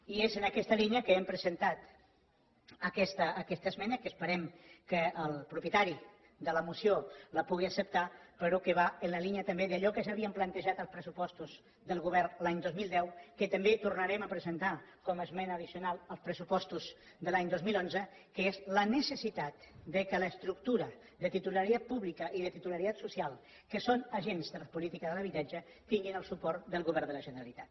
i és en aquesta línia que hem presentat aquesta esmena que esperem que el propietari de la moció la pugui acceptar però que va en la línia també d’allò que ja ha víem plantejat als pressupostos del govern de l’any dos mil deu que també tornarem a presentar com a esmena addicional als pressupostos de l’any dos mil onze que és la necessitat que l’estructura de titularitat pública i de titularitat social que són agents de les polítiques de l’habitatge tingui el suport del govern de la generalitat